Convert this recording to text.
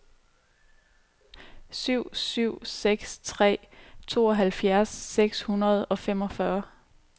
syv syv seks tre tooghalvfjerds seks hundrede og femogfyrre